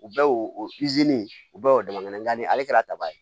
U bɛɛ y'o o o bɛɛ y'o dama ni ale kɛra taba ye